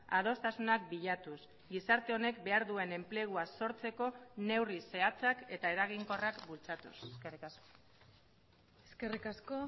adostasunak bilatuz gizarte honek behar duen enplegua sortzeko neurri zehatzak eta eraginkorrak bultzatuz eskerrik asko eskerrik asko